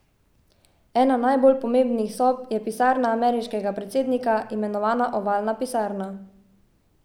Ena najbolj pomembnih sob je pisarna ameriškega predsednika, imenovana ovalna pisarna.